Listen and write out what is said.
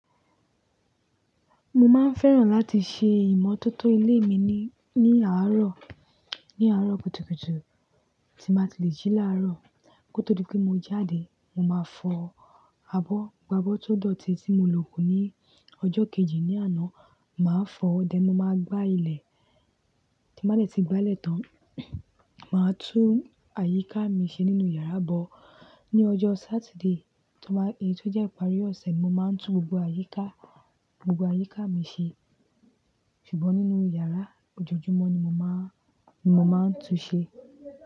Mo máa ń fẹ́ràn láti ṣe ìmọ́tótó ilé mi ní, ní àárọ̀, ní àárọ̀ kùtùkùtù tí màá ti lè jí láàárọ̀. Kó tó dipé mo jáde, mo máa fọ abọ́, gbá abọ́ tó dọ̀tí tí mo lo kù ní ọjọ́ kejì ní àná, màá fọ, dè mo máa gbá ilẹ̀ tín bàá dẹ́ ti gbá lẹ́̀tán, màá tú àyíká mi ṣe nínú yàrá bọ́. Ni ọjọ́ Saturday tó bá, èyí tó jẹ́ ìparí ọ̀sẹ̀ mo máa ń tú gbogbo àyíká, gbogbo àyíká mi ṣe. Ṣùgbọ́n nínú yàrá ojoojúmọ́ ni mo máa ń, ni mo máa ń tú ṣe.